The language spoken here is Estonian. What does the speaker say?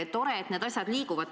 Tore, et need asjad liiguvad.